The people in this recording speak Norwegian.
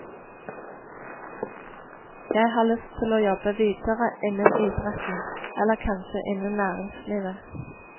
Jeg har lyst til å jobbe videre innen idretten, eller kanskje innen næringslivet.